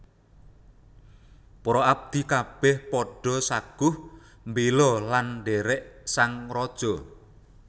Para abdi kabèh padha saguh mbéla lan ndhèrèk sang raja